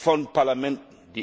von Parlamenten.